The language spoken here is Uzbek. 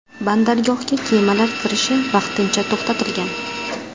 Bandargohga kemalar kirishi vaqtincha to‘xtatilgan.